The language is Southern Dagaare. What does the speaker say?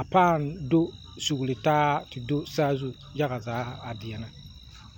a paa do sugli taa te do saazu yaŋa a paa deɛnɛ.